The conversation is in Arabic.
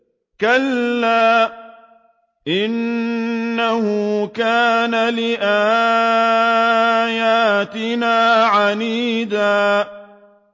كَلَّا ۖ إِنَّهُ كَانَ لِآيَاتِنَا عَنِيدًا